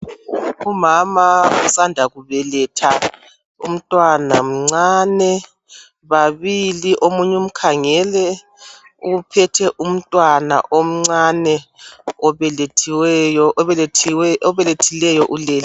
Umama osanda kubeletha umntwana mncane babili omunye umkhangele uphethe umntwana omncane obelethileyo ulele.